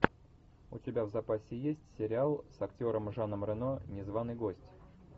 у тебя в запасе есть сериал с актером жаном рено незваный гость